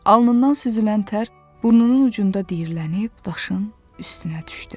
Alnından süzülən tər burnunun ucunda diyirlənib daşın üstünə düşdü.